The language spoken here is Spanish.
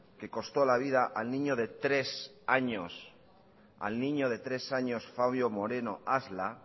que costó la vida al niño de tres años fabio moreno asla